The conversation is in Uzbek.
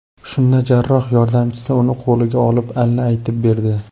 Shunda jarroh yordamchisi uni qo‘liga olib, alla aytib berdi.